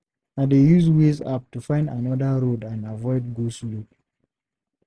I dey use Waze app to find another road and avoid go-slow.